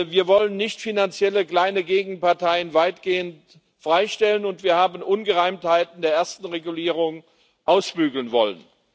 Wir wollen nichtfinanzielle kleine Gegenparteien weitgehend freistellen, und wir haben Ungereimtheiten der ersten Verordnung ausbügeln wollen.